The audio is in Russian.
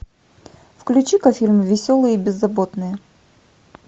включи ка фильм веселые и беззаботные